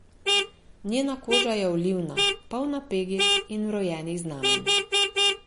Njena koža je olivna, polna pegic in vrojenih znamenj.